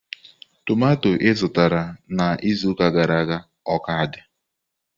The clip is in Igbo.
Tomato izụtara na izuụka gara aga o ka dị?